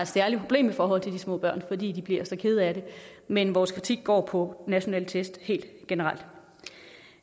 særligt problem i forhold til de små børn fordi de bliver så kede af det men vores kritik går på nationale test helt generelt